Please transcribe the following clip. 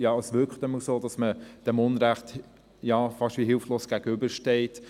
Ja, es wirkt jedenfalls so, als stehe man diesem Unrecht fast hilflos gegenüber.